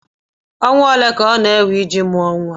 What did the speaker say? ọnwa ole ka ọ na-ewe iji mụọ nwa?